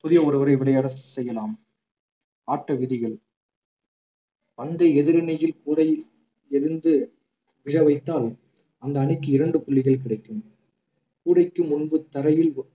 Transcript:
புதிய ஒருவரை விளையாட செய்யலாம் ஆட்ட விதிகள் பந்தை எதிரணியில் கூடையில் விழுந்து விழ வைத்தால் அந்த அணிக்கு இரண்டு புள்ளிகள் கிடைக்கும் கூடைக்கு முன்பு தரையில்